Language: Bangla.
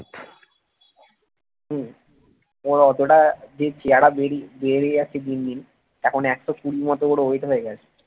হম ওর অতটা যে চেহারা বেড়ে বেড়ে যাচ্ছে দিন দিন এখন একশ কুড়ি মতন ওর wait হয়ে গেছে।